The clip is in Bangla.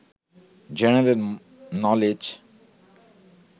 general knowledge